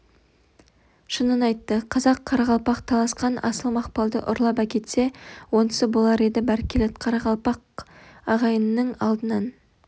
шынын айтты қазақ-қарақалпақ таласқан асыл мақпалды ұрлап әкетсе онысы болар еді бәркелет қарақалпақ ағайынның алдынан